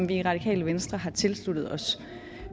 vi i radikale venstre tilsluttet os